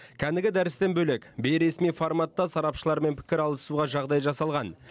кәнігі дәрістен бөлек бейресми форматта сарапшылармен пікір алысуға жағдай жасалған